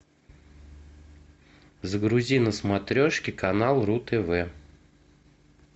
загрузи на смотрешке канал ру тв